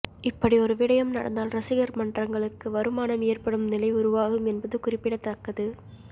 இப்படி ஒரு விடயம் நடந்தால் ரசிகர் மன்றங்களுக்கு வருமானம் ஏற்படும் நிலை உருவாகும் என்பது குறிப்படத்தக்கது